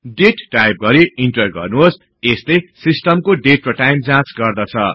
दाते type गरि enter गर्नुहोस यसले सिस्टमको डेट र टाईम जाँच गर्दछ